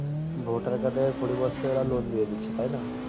votar card পরিবর্তে loan দিয়ে দিচ্ছে তাই না